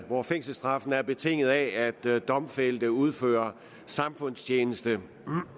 hvor fængselsstraffen er betinget af at domfældte udfører samfundstjeneste